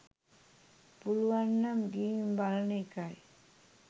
පුලුවන් නම් ගිහින් බලන එකයි